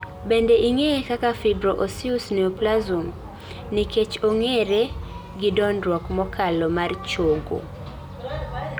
Bende ing'iye kaka "fibro osseous neoplasm" nikech ong'ere gi dongruok mokalo mar chogo